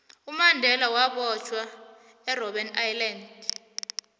umandela wabotjhwa erbben island